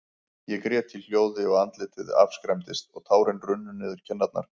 Ég grét í hljóði, og andlitið afskræmdist, og tárin runnu niður kinnarnar.